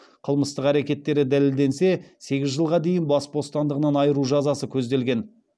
қылмыстық әрекеттері дәлелденсе сегіз жылға дейін бас бостандығынан айыру жазасы көзделген